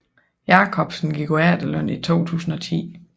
Jakobsen gik på efterløn i 2010